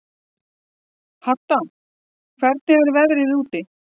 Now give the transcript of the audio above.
Hadda, hvernig er veðrið úti?